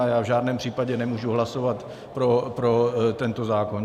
A já v žádném případě nemůžu hlasovat pro tento zákon.